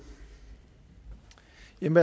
lidt